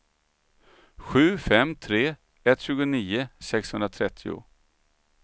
sju fem tre ett tjugonio sexhundratrettio